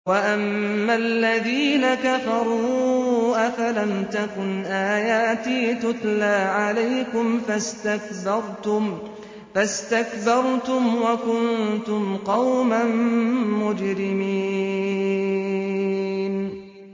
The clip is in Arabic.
وَأَمَّا الَّذِينَ كَفَرُوا أَفَلَمْ تَكُنْ آيَاتِي تُتْلَىٰ عَلَيْكُمْ فَاسْتَكْبَرْتُمْ وَكُنتُمْ قَوْمًا مُّجْرِمِينَ